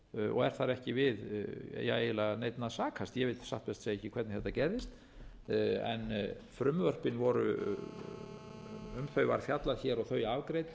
og er þar ekki við eiginlega neinn að sakast ég veit satt best að segja ekki hvernig þetta gerðist en um frumvörpin var fjallað hér og þau afgreidd